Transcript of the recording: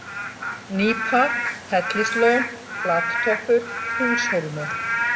Nýpa, Hellislón, Flattoppur, Húshólmi